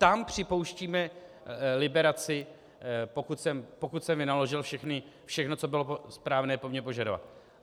Tam připouštíme liberaci, pokud jsem vynaložil všechno, co bylo správné po mně vyžadovat.